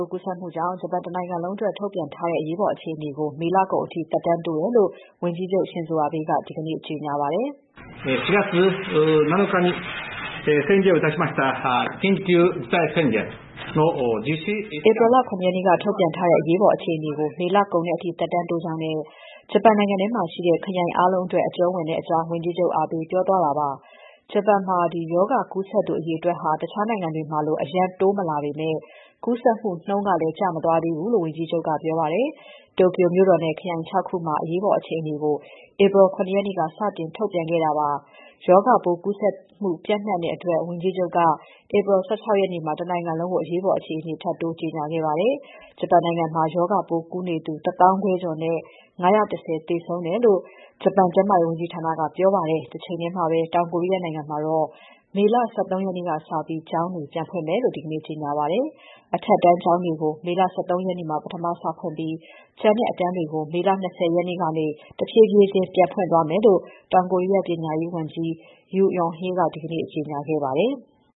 ိုးကူးစက်မှုကြောင့် ဂျပန်တနိုင်ငံလုံးအတွက် ထုတ်ပြန်ထားတဲ့ အရေးပေါ်အခြေအနေကို မေလကုန်အထိ သက်တမ်းတိုးတယ်လို့ ဝန်ကြီးချုပ် Shinzo Abe က ဒီကနေ့ ကြေညာပါတယ်။ ဧပြီလ ၇ ရက်နေ့က ထုတ်ပြန်ထားတဲ့ အရေးပေါ် အခြေအနေကို မေလကုန်တဲ့အထိ သက်တမ်းတိုးကြောင်းနဲ့ ဂျပန်နိုင်ငံထဲမှာရှိတဲ့ ခရိုင်အားလုံးအတွက် အကျုံးဝင်ကြောင်း ဝန်ကြီးချုပ် Abe ပြောကြားသွားတာ ဖြစ်ပါတယ်။ ဂျပန်မှာ ရောဂါကူးစက်သူအရေအတွက်ဟာ တခြားနိုင်ငံတွေမှာလို အရမ်းတိုးမလာပေမဲ့ ကူးစက်မှုနှုန်းကလည်း ကျမသွားသေးဘူးလို့ ဝန်ကြီးချုပ်က ပြောပါတယ်။ Tokyo မြို့တော်နဲ့ ခရိုင် ၆ ခုမှာ အရေးပေါ်အခြေအနေကို ဧပြီလ ၇ နေ့က စတင်ထုတ်ပြန်ခဲ့တာဖြစ်ပြီး ရောဂါပိုးကူးစက်မှု ပျံ့နှံ့နေတဲ့အတွက် ဝန်ကြီးချုပ်က ဧပြီလ ၁၆ ရက်နေ့မှာ တနိုင်ငံလုံးကို အရေးပေါ် အခြေအနေ ကြေညာခဲ့တာပါ။ ဂျပန်နိုင်ငံမှာ ရောဂါပိုးကူးစက်နေသူ ၁၅,၀၀၀ ကျော်နဲ့ ၅၁၀ သေဆုံးခဲ့တယ်လို့ ဂျပန်ကျန်းမာရေးဝန်ကြီးဌာနက ပြောပါတယ်။ တချိန်ထဲမှာပဲ တောင်ကိုရီးယားနိုင်ငံမှာတော့ မေ ၁၃ ရက်နေ့ကစပြီး ကျောင်းတွေ ပြန်ဖွင့်မယ်လို့ ဒီနေ့ ကြေညာပါတယ်။ အထက်တန်းကျောင်းတွေကို မေ ၁၃ ရက်မှာ ပထမစဖွင့်ပြီး ကျန်တဲ့အတန်းတွေကို မေ ၂၀ ကနေ တဖြည်းဖြည်းချင်း ပြန်ဖွင့်သွားမယ်လို့ တောင်ကိုရီးယား ပညာရေးဝန်ကြီး Yoo Eun-hae က ဒီကနေ့ ကြေညာခဲ့ပါတယ်။